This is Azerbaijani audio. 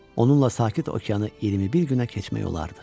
Onunla sakit okeanı 21 günə keçmək olardı.